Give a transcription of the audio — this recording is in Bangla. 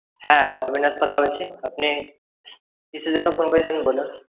হ্যা অবিনাশ কথা বলছি আপনি কিসের জন্য phone করেছেন বলুন?